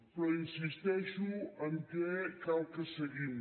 però insisteixo que cal que seguim